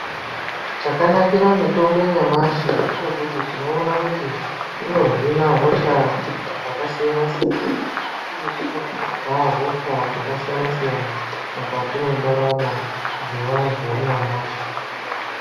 Chakanakira mitombo yanyamashi ngechekuti tinoona kuti inohina hosha dzakasiyana-siyana uye inopedza hosha dzakasiyana-siyana mukati mwendaramo dzevantu vanyamashi.